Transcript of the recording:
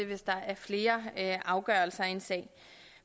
hvis der er flere afgørelser i en sag